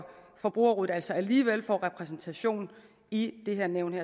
forbrugerrådet altså alligevel får repræsentation i det her nævn